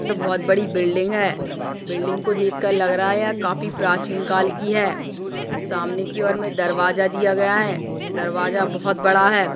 बहुत बड़ी बिल्डिंग है बिल्डिंग को देख कर लग रहा है यह काफी प्राचीन काल की है सामने की और मे दरवाजा दिया गया है दरवाजा बहुत बड़ा है।